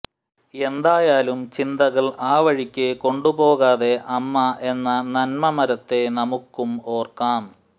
എന്തായാലും ചിന്തകൾ ആ വഴിക്ക് കൊണ്ടുപോകാതെ അമ്മ എന്ന നന്മമരത്തെ നമുക്കും ഓർക്കാം